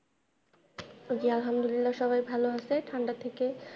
জি আলহামদুলিল্লাহ সবাই ভালো আছে ঠান্ডার থেকে।